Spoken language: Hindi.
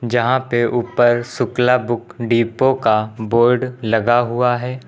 यहां पे ऊपर शुक्ला बुक डिपो का बोर्ड लगा हुआ है।